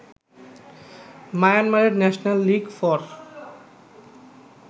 মায়ানমারের national league for